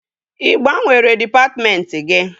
Ị gbanwere dịpatmentị gị?